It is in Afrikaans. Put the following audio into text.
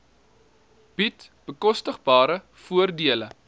bied bekostigbare voordele